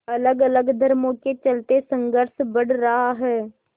अलगअलग धर्मों के चलते संघर्ष बढ़ रहा है